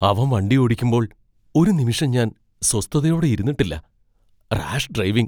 അവൻ വണ്ടിയോടിക്കുമ്പോൾ ഒരു നിമിഷം ഞാൻ സ്വസ്ഥതയോടെ ഇരുന്നിട്ടില്ല. Rash driving!